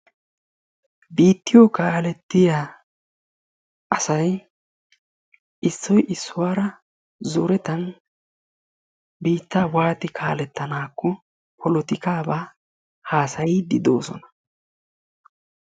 biittiyo kaalettiya asay issoy issuwara zoretan biittaa wati kaaletanay polotikaaba haasayiidi de'oosona